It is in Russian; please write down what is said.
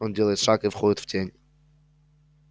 он делает шаг и входит в тень